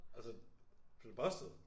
Altså blev du busted?